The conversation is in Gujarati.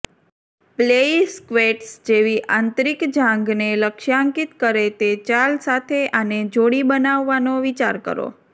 પ્લેઇ સ્ક્વેટ્સ જેવી આંતરિક જાંઘને લક્ષ્યાંકિત કરે તે ચાલ સાથે આને જોડી બનાવવાનો વિચાર કરો